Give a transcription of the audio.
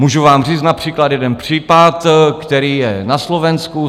Můžu vám říct například jeden případ, který je na Slovensku.